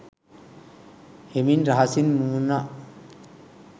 හෙමින් රහසින් මුමුණා